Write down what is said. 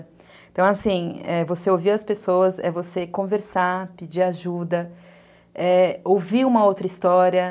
Então, assim, você ouvir as pessoas é você conversar, pedir ajuda, ouvir uma outra história.